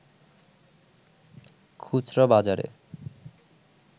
খুচরা বাজারে